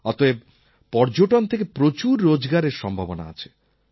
অতএব পর্যটন থেকে প্রচুর রোজগারের সম্ভাবনা আছে